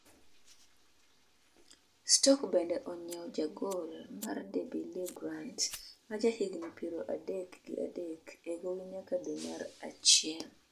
Stoke bende onyiewo jagol mar Derby Lee Grant ma jahigni piero adek gi adek e gowi nyaka dwe mar achiel.